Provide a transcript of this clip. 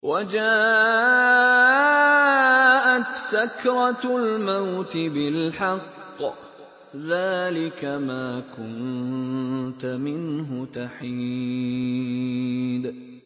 وَجَاءَتْ سَكْرَةُ الْمَوْتِ بِالْحَقِّ ۖ ذَٰلِكَ مَا كُنتَ مِنْهُ تَحِيدُ